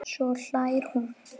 Svo hlær hún.